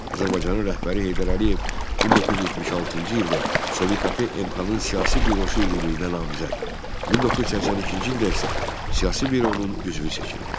Azərbaycanın rəhbəri Heydər Əliyev 1976-cı ildə Sov.KP MK-nın siyasi bürosu üzvlüyünə namizəd, 1982-ci ildə isə siyasi büronun üzvü seçildi.